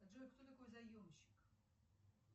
джой кто такой заемщик